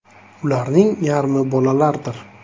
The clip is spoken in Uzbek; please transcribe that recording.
Ularning yarmi bolalardir.